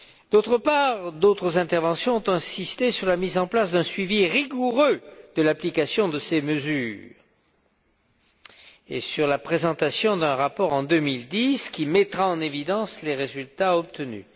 D'autre part, d'autres interventions ont insisté sur la mise en place d'un suivi rigoureux de l'application de ces mesures et sur la présentation d'un rapport, en 2010, qui mettra en évidence les résultats obtenus.